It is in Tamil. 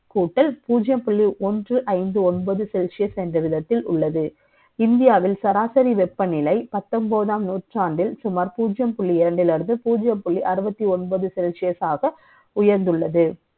கூட்டல் பூஜ்ஜியம் புள்ளி ஒன்று ஐந்து ஒன்பது செ ல்சியஸ் என்ற விதத்தில் உள்ளது. இந்தியாவில் சராசரி வெ ப்பநிலை, பத்த ொன்பதாம் நூற்றாண்டில், சுமார் பூஜ்ஜியம் புள்ளி இரண்டிலிருந்து, பூஜ்ஜியம் புள்ளி அறுபத்தி ஒன்பது celsius ஆக, உயர்ந்துள்ளது.